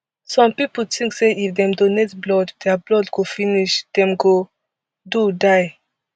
some pipo tink say if dem donate blood dia blood go finish dem go do die